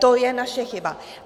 To je naše chyba.